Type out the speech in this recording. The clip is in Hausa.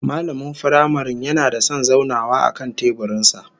Mallamin firamaren yana da son zaunawa akan teburin sa